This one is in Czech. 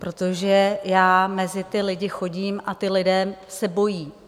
Protože já mezi ty lidi chodím a ti lidé se bojí.